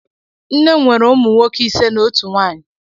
Nne m nwere ụmụ nwoke ise na otu nwaanyị.